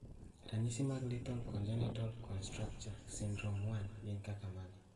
Ranyisi mag Lethal congenital contracture syndrome 1 gin kaka mage?